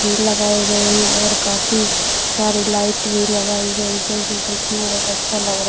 ये लगाए गए हैं और काफी सारे लाइट भी लगाई गई जो की देखने में बहुत अच्छा लग रहा।